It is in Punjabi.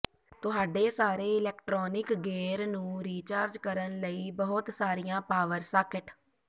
ਤੁਹਾਡੇ ਸਾਰੇ ਇਲੈਕਟ੍ਰੌਨਿਕ ਗੇਅਰ ਨੂੰ ਰੀਚਾਰਜ ਕਰਨ ਲਈ ਬਹੁਤ ਸਾਰੀਆਂ ਪਾਵਰ ਸਾਕਟ